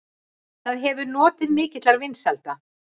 Það hefur notið mikilla vinsælda.